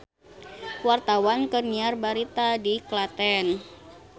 Wartawan keur nyiar berita di Klaten